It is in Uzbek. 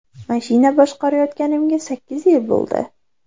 Mashina boshqarayotganimga sakkiz yil bo‘ldi.